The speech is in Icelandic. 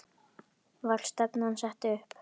Var stefnan sett upp?